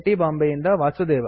ಬಾಂಬೆಯಿಂದ ವಾಸುದೇವ